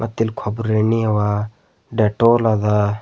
ಮತ್ತಿಲ್ಲಿ ಕೊಬ್ರಿ ಎಣ್ಣಿ ಅವ ಡೆಟೋಲ್ ಅದ.